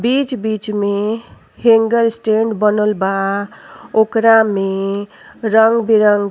बिच-बिच में hanger stand बनल बा ओकरा में रंग बिरंग --